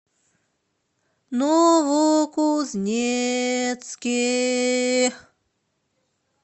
новокузнецке